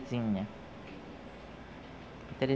A Terezinha